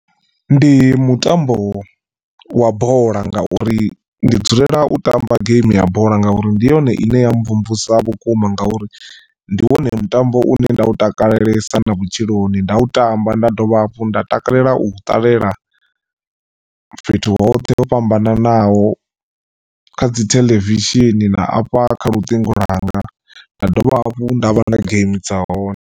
Ndi mutambo wa bola ngauri ndi dzulela u tamba game ya bola ngauri ndi yone ine ya mvumvusa vhukuma ngauri ndi wone mutambo une nda u takalelesa na vhutshiloni nda u tamba nda dovha hafhu nda takalela u u ṱalela fhethu hoṱhe ho fhambananaho kha dzi theḽevishini na afha kha luṱingo lwanga nda dovha hafhu nda vha na game dza hone.